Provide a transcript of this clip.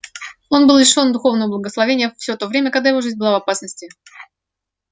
он был лишён духовного благословения все то время когда его жизнь была в опасности